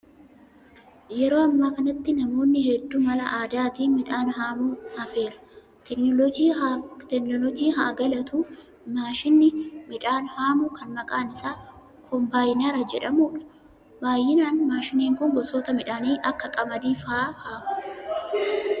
Yeroo ammaa kanatti namoonni hedduun mala aadaatiin midhaan haamuun hafeera. Teekinooloojii haa galatuu maashiniin midhaan haamu kan maqaan isaa kombaayinara jedhamudha. Baay'inaan maashiniin kun gosoota midhaanii akka qamadii fa'aa haama.